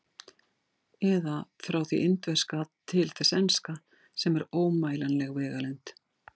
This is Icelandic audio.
Eða: frá því indverska til þess enska, sem er ómælanleg vegalengd.